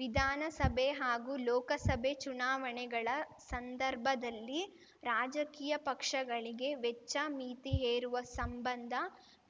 ವಿಧಾನಸಭೆ ಹಾಗೂ ಲೋಕಸಭೆ ಚುನಾವಣೆಗಳ ಸಂದರ್ಭದಲ್ಲಿ ರಾಜಕೀಯ ಪಕ್ಷಗಳಿಗೆ ವೆಚ್ಚ ಮಿತಿ ಹೇರುವ ಸಂಬಂಧ